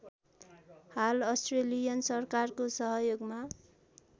हाल अस्ट्रेलियन सरकारको सहयोगमा